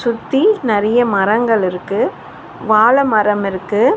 சுத்தி நறைய மரங்கள் இருக்கு வாழைமரம் இருக்கு.